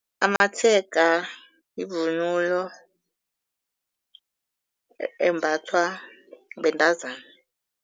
Amatshega yivunulo embathwa bentazana.